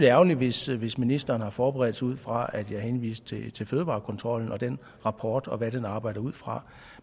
ærgerligt hvis hvis ministeren har forberedt sig ud fra at jeg henviste til fødevarekontrollen og den rapport og hvad den arbejder ud fra